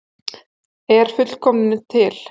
Er fullkomnun til?